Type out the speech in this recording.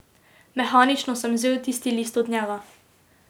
Mehanično sem vzel tisti list od njega.